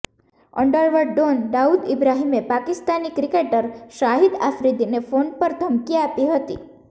underworld don Dawood ઈબ્રાહિમે Pakistani cricketer Shahid આફ્રિદીને phone પર ધમકી આપી હતી